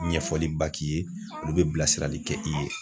Ɲɛfɔliba k'i ye olu bɛ bilasirali kɛ i ye.